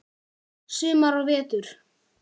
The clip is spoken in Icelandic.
Sumar og vetur.